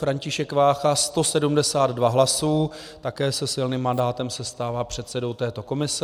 František Vácha 172 hlasů, také se silným mandátem se stává předsedou této komise.